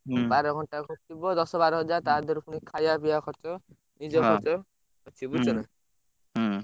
ହୁଁ ବାର ଘଣ୍ଟା ଖଟିବ ଦଶ ବାର ହଜାର ତାଦିହରୁ ପୁଣି ଖାଇବା ପିଇବା ଖର୍ଚ୍ଚ ନିଜ ଖର୍ଚ୍ଚ ହଁ ଅଛି ବୁଝୁଛନା? ହୁଁ।